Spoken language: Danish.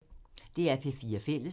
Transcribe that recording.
DR P4 Fælles